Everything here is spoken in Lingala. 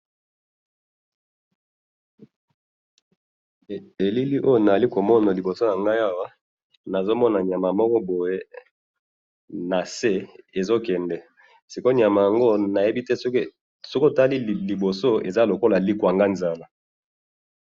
Elili oyo nazali komona liboso na ngai awa ,nazo mona niama moko boye na se ezo kende ,siko oyo niama yango nayebi té, soki otali liboso eza lokola likwanganzala